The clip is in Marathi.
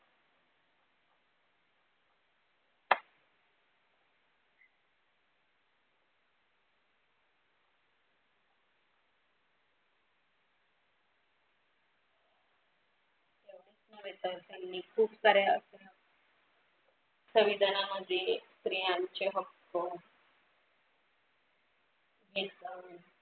त्यांनी खूप साऱ्या संविधानामध्ये स्त्रियांचे हक्क